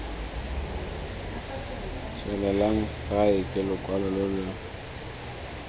tswelelang stke lokwalo lo lo